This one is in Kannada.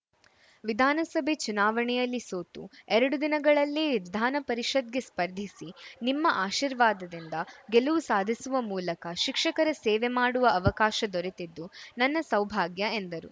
ವಿಧಾನಸಭೆ ಚುನಾವಣೆಯಲ್ಲಿ ಸೋತು ಎರಡು ದಿನಗಳಲ್ಲೇ ವಿಧಾನ ಪರಿಷತ್‌ಗೆ ಸ್ಪರ್ಧಿಸಿ ನಿಮ್ಮ ಆಶೀರ್ವಾದದಿಂದ ಗೆಲುವು ಸಾಧಿಸುವ ಮೂಲಕ ಶಿಕ್ಷಕರ ಸೇವೆ ಮಾಡುವ ಅವಕಾಶ ದೊರೆತಿದ್ದು ನನ್ನ ಸೌಭಾಗ್ಯ ಎಂದರು